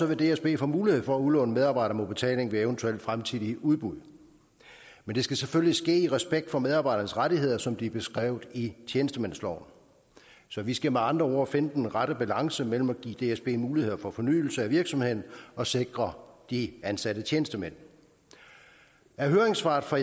vil dsb få mulighed for at udlåne medarbejdere mod udbetaling ved eventuelle fremtidige udbud men det skal selvfølgelig ske i respekt for medarbejdernes rettigheder som de er beskrevet i tjenestemandsloven så vi skal med andre ord finde den rette balance mellem at give dsb muligheder for fornyelse af virksomheden og sikre de ansatte tjenestemænd af høringssvaret fra